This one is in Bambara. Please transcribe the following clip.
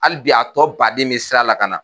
Hali bi a tɔ baden be sira la ka na.